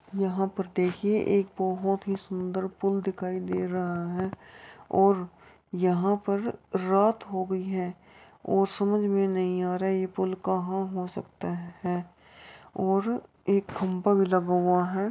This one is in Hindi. यहाँ पर देखिये एक बहुत ही सुंदर पुल दिखाई दे रहा है और यहाँ पर रात हो गयी है और समझ में नही आ रहा ये पुल कहा हो सकता है और एक खंभा भी लगा हुवा है।